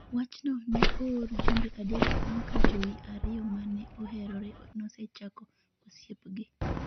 wachno ne ooro jumbe adek bang’ ka joi ariyo ma ne oherore nosechako osiepgi.